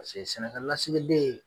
Paseke sɛnɛkɛ lasigiden.